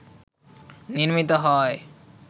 নির্মিত হয়